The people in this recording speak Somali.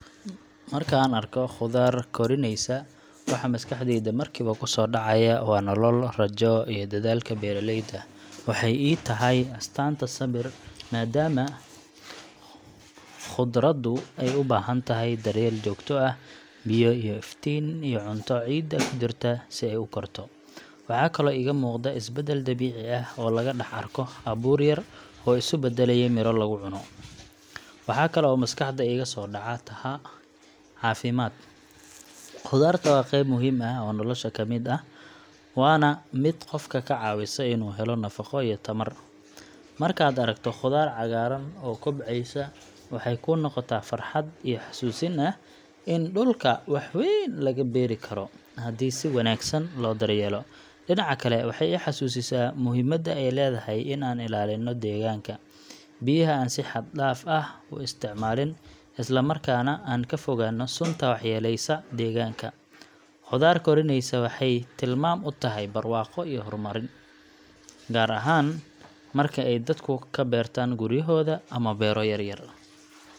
Marka aan arko khudaar koriinaysa, waxa maskaxdayda markiiba ku soo dhacaya waa nolol, rajo, iyo dadaalka beeraleyda. Waxay ii tahay astaanta sabir, maadaama khudaaru ay u baahan tahay daryeel joogto ah, biyo, iftiin, iyo cunto ciidda ku jirta si ay u korto. Waxaa kaloo iga muuqda isbeddel dabiici ah oo laga dhex arko abuur yar oo isu beddelaya midho laga cuno. Waxa kale oo maskaxda iiga soo dhaca tahay caafimaad. Khudaartu waa qayb muhiim ah oo nolosha ka mid ah, waana mid qofka ka caawisa inuu helo nafaqo iyo tamar. Markaad aragto khudaar cagaaran oo kobcaysa, waxay kuu noqotaa farxad iyo xasuusin ah in dhulka wax weyn laga beeri karo haddii si wanaagsan loo daryeelo. Dhinaca kale, waxay i xasuusisaa muhiimadda ay leedahay in aan ilaalinno deegaanka, biyaha aan si xad dhaaf ah u isticmaalin, isla markaana aan ka fogaanno sunta waxyeellaysa deegaanka. Khudaar koriinaysa waxay tilmaam u tahay barwaaqo iyo horumar, gaar ahaan marka ay dadku ka beertaan guryahooda ama beero yar yar.